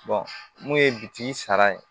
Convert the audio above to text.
mun ye bitigi sara ye